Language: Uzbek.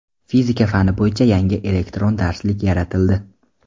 Fizika fani bo‘yicha yangi elektron darslik yaratildi.